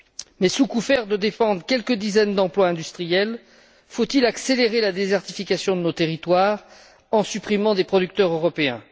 Mais sous prétexte de défendre quelques dizaines d'emplois industriels, faut il accélérer la désertification de nos territoires en supprimant des producteurs européens?